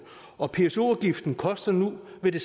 og pso afgiften koster nu hvad der